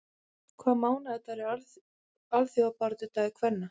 Hvaða mánaðardagur er alþjóðabaráttudagur kvenna?